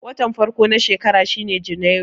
Watan farko na shekara shine Janairu.